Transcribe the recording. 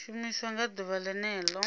shumiwa nga ḓuvha ḽene ḽo